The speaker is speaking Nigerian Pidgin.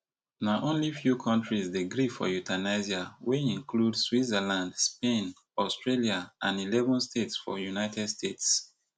na only few kontris dey gree for euthanasia wey include switzerland spain australia and eleven states for united states